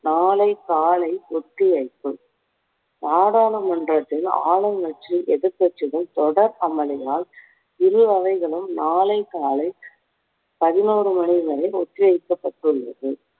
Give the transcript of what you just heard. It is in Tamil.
நாளை காலை ஒத்திவைப்பு. நாடாளுமன்றத்தில் ஆளுங்கட்சி எதிர்க்கட்சிகள் தொடர் அமளியால் இரு அவைகளும் நாளை காலை பதினோரு மணி வரை ஒத்திவைக்கப்பட்டுள்ளது